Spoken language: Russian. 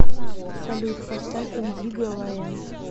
салют поставь индиго ла энд